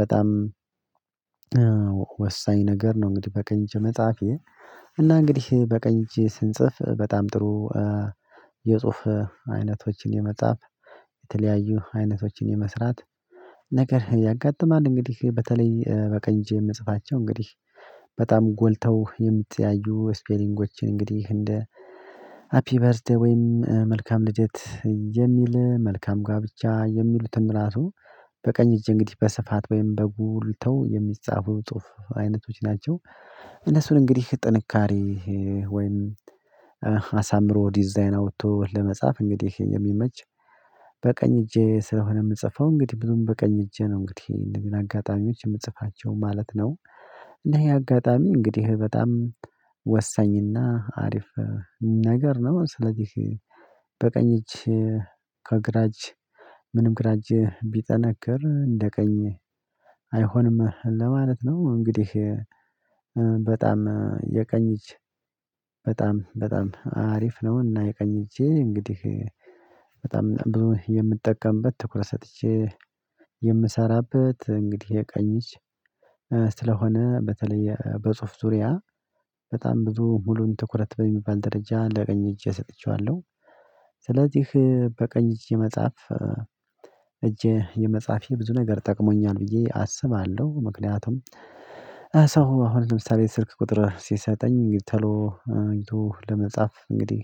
በጣም ወሳኝ ነገር ነው እንግዲህ በቀኝ እጅ መጻፌ እና እንግዲህ በቀኝ እጅ ስንጽፍ በጣም ጥሩ የጽሁፍ አይነቶችን የመጻፍ፣ የተለያዩ አይነቶችን የመስራት ነገር ያጋጥማል። እንግዲህ በተለይ በቀኝ እጄ የምጽፋቸው እንግዲህ በጣም ጎልተው የሚተያዩ ስፔሊንጎችን እንግዲህ እንደ ሃፒ በርዝዴ ወይም መልካም ልደት የሚል መልካም ጋብቻ የሚሉትን ራሱ በቀኝ እጅ እንግዲህ በስፋት ወይም በጉልተው የሚጻፉ ጽሁፍ አይነቶች ናቸው። እነሱን እንግዲህ ጥንካሬ ወይም አሳምሮ ዲዛይን አውጥቶ ለመጻፍ እንግዲህ ይሄን የሚመች በቀኝ እጄ ስለሆነ የምጽፈው እንግዲህ ብዙም በቀኝ እጄ ነው እንግዲህ እነዚህን አጋጣሚዎች የምጽፋቸው ማለት ነው። እንዴ ይሄ አጋጣሚ እንግዲህ በጣም ወሳኝና አሪፍ ነገር ነው። ስለዚህ በቀኝ እጅ ከግራጅ ምንም ግራ እጅ ቢጠነክር እንደ ቀኝ አይሆንም ለማለት ነው። እንግዲህ በጣም የቀኝ እጅ በጣም በጣም አሪፍ ነውና የቀኝ እጄ እንግዲህ በጣም የምጠቀምበት ትኩረት ሰጥቼ የምሰራበት እንግዲህ የቀኝ እጅ ስለሆነ፤ በተለይ በጽሁፍ ዙሪያ በጣም ብዙ ሙሉን ትኩረት በሚባል ደረጃ ለቀኝ እጄ ሰጥቼዋለሁ። ስለዚህ በቀኝ እጄ መጻፍ እጄ የመጻፌ ብዙ ነገር ጠቅሞኛል ብዬ አስባለሁ። ምክንያቱም ሰው አሁን ለምሳሌ ስልክ ቁጥር ሲሰጠኝ ተሎ አይቶ ለመጻፍ እንግዲህ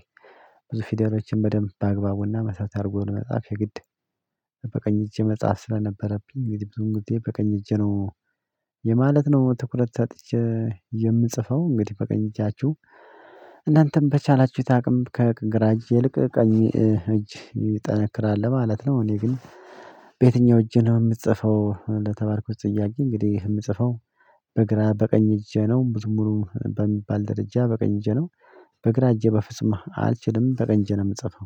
ብዙ ፊደሎችን በደንብ በአግባቡና መስራት አድርጎ ለመጽሐፍ የግድ በቀኝ እጄ መጻፍ ስለነበረብኝ እንግዲህ ብዙ ጊዜ በቀኝ እጄ ነው የማለት ነው ትኩረት ታጥቼ የምጽፈው። እንግዲህ በቀኝ እጃችሁ እናንተም በቻላችሁት አቅም ከግራ እጅ ይልቅ ቀኝ እጅ ይጠነክራል ለማለት ነው። እኔ ግን በየትኛው እጄ ነው የምጽፈው ለተባልኩት ጥያቄ እንግዲህ የምጽፈው በግራ በቀኝ እጄ ነው። ብዙም ሙሉ በሚባል ደረጃ በቀኝ እጄ ነው በግራ እጄ በፍጹም አልችልም በቀኝ እጄ ነው የምጽፈው።